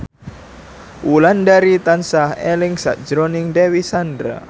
Wulandari tansah eling sakjroning Dewi Sandra